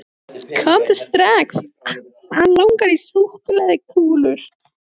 Komdu strax, hann langar í súkkulaðikúlur.